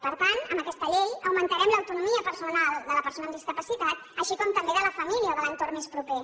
per tant amb aquesta llei augmentarem l’autonomia personal de la persona amb discapacitat així com també de la família o de l’entorn més proper